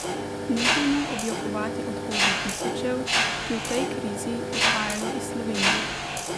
Nehajmo objokovati odhode tisočev, ki v tej krizi odhajajo iz Slovenije.